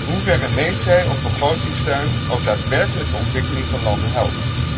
En in hoeverre meet zij of begrotingssteun ook daadwerkelijk de ontwikkeling van landen helpt?